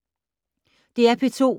DR P2